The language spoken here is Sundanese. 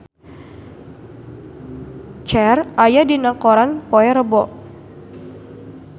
Cher aya dina koran poe Rebo